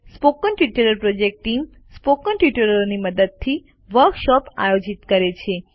spoken tutorial project team spoken ટ્યુટોરીયલોની મદદથી workshop આયોજિત કરે છે